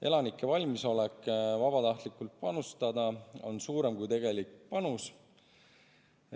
Elanike valmisolek vabatahtlikult panustada on suurem kui tegelik panus.